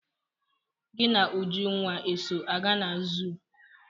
Gị na Ujunwa eso aga na zuu?